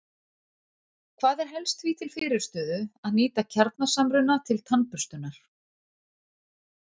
Hvað er helst því til fyrirstöðu að nýta kjarnasamruna til tannburstunar?